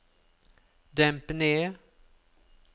demp ned